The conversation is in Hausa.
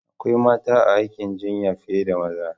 Akwai mata a aikin jinya fiye da maza.